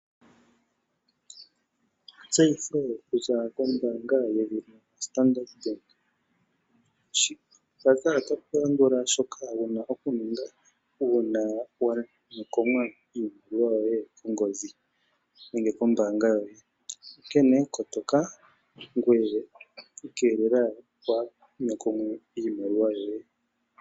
Etseyitho okuza kombaanga yedhina Standard Bank. Mpaka ota pulandula shoka wuna okuninga uuna wanyokomwa iimaliwa yoye kongodhi nenge kombaanga yoye, onkene kotoka ngoye iikelela waha nyokomwe iimaliwa yoye.